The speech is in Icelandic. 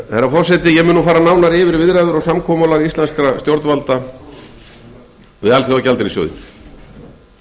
forseti ég mun nú fara nánar yfir viðræður og samkomulag íslenskra stjórnvalda við alþjóðagjaldeyrissjóðinn